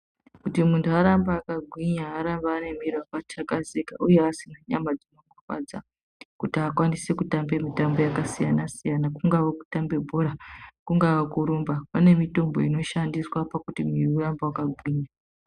Kuti muntu arambe akagwinya arambe anemwiri wakatakazika uye asina nyama dzinorwadza kuti akwanise kutambe mitambo yakasiyana siyana kungave kutambe bhora kungava kurumba kune mitombo inoshandiswa kuti mwiri urambe wakagwinya